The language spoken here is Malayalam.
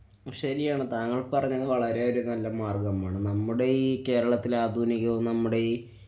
ശരിയാണ് താങ്കള്‍ പറഞ്ഞത് വളരെയധികം നല്ല മാര്‍ഗ്ഗമാണ്. നമ്മുടെ ഈ കേരളത്തില്‍ ആധുനികവും നമ്മുടെയീ